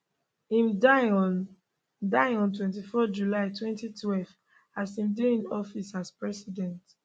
im die on die on 24 july 2012 as im dey in office as president